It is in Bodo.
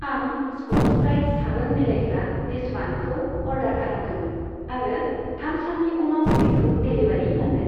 आं स्कत्च ब्राइट साबोन बिलाइग्रा डिसवान्दखौ अर्डार खालामदोंमोन आरो थाम साननि उनाव बेखौ डेलिबारि मोनदों।